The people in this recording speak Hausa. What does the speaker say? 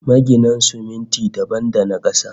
Magina siminti dabam da na kasa